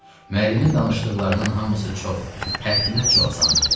Müəllimin danışdıqlarının hamısı çox, həddindən çox asan idi.